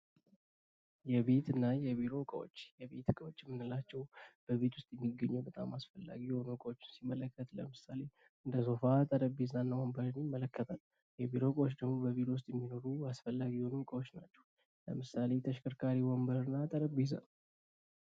የቤት እና የቢሮ እቃዎች የቤት እቃዎች የምንላቸው በቤት ውስጥ የሚገኙ በጣም አስፈላጊ የሆኑ እቃዎችን ሲመለከት ለምሳሌ፦ እንደ ሶፋ፣ ጠረጴዛ እና ወንበርን ይመለከታል። የቢሮ እቃዎች የምንላቸው በቢሮ ውስጥ የሚኖሩ አስፈላጊ የሆኑ እቃዎች ናቸው። ለምሳሌ፦ ተሽከርካሪ ወንበር እና ጠረጴዛ።